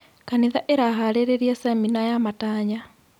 Kanitha ĩraharĩrĩria cemina ya matanya.